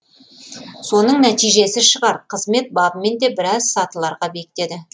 соның нәтижесі шығар қызмет бабымен де біраз сатыларға биіктеді